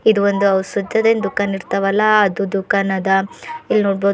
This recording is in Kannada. ಇದು ಒಂದು ಔಸತ್ತದೆಂದು ಕನ್ನಡತಾವ ಅಲಾ ಅದು ದುಖಾನ ಅದ.